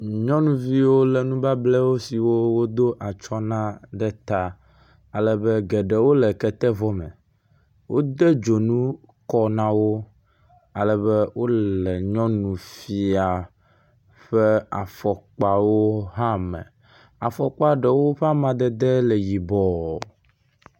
nyɔnuviwo wole nubablɛwo siwo wodó atsɔ̃ na ɖe ta alebe geɖewo le kete vɔ me wóde dzonu kɔ nawo alebe wóle nyɔnufia ƒe afɔkpawo hã me afɔkpa ɖewo ƒe amadede hã le yibɔ